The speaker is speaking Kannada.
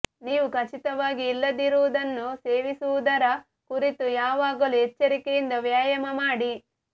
ನೀವು ಖಚಿತವಾಗಿ ಇಲ್ಲದಿರುವುದನ್ನು ಸೇವಿಸುವುದರ ಕುರಿತು ಯಾವಾಗಲೂ ಎಚ್ಚರಿಕೆಯಿಂದ ವ್ಯಾಯಾಮ ಮಾಡಿ